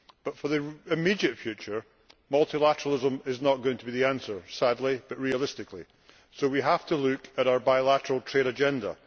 But for the immediate future, multilateralism is not going to be the answer, sadly but realistically, so we have to look at our bilateral trade agenda.